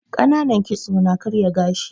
Ƙananan kitso ya na karya gashi